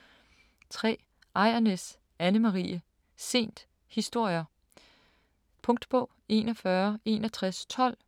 3. Ejrnæs, Anne Marie: Sent: historier Punktbog 416112